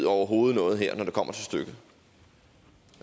overhovedet noget her når det kommer til stykket